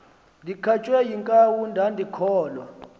ndikhatywe yinkawu ndandikholwa